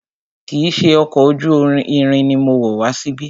Kìí ṣe ọkọ̀ ojú irin ni mo wọ̀ wá síbí.